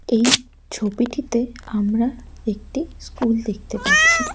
এই ছবিটিতে আমরা একটি স্কুল দেখতে পাচ্ছি।